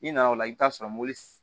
I nana o la i bi t'a sɔrɔ mobili